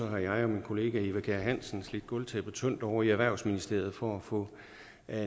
jeg og min kollega eva kjer hansen slidt gulvtæppet tyndt ovre i erhvervsministeriet for at få